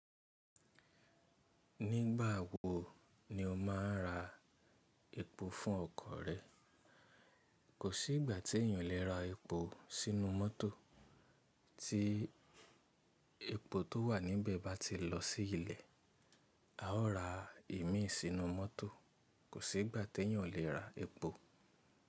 Nígbà wo ni o máa ra epo fún ọkọ̀ rẹ? Kò sí ìgbà tí èèyàn o le ra epo sínú mọ́tò tí epo tó wà níbẹ̀ bá ti lọ sí ilẹ̀. A ó ra ìmí sínú mọ́tò, kò sí ìgbà tí èèyàn le ra epo.